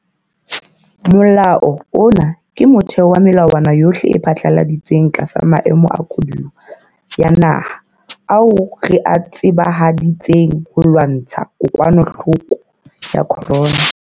Molao ona ke motheo wa melawana yohle e phatlaladitsweng tlasa maemo a koduwa ya naha ao re a tsebahaditseng ho lwantsha kokwanahloko ya corona.